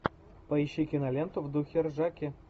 поищи киноленту в духе ржаки